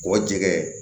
K'o jɛgɛ